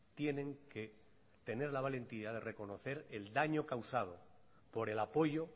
tienen que tener la valentía de reconocer el daño causado por el apoyo